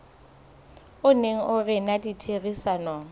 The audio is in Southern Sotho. o neng o rena ditherisanong